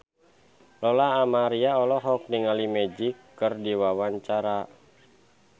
Lola Amaria olohok ningali Magic keur diwawancara